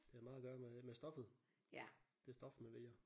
Det har meget at gøre med med stoffet. Det stof man vælger